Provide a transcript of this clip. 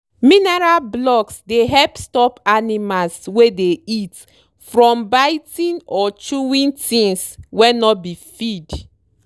mineral blocks dey help stop animals wey dey eat from biting or chewing things wey no be feed.